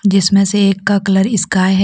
इसमें से एक का कलर स्काई है।